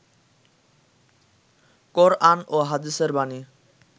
কোরআন ও হাদীসের বাণী